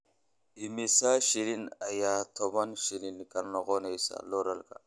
Immisa shilin ayaa toban shilin ka noqonayaa dollarka?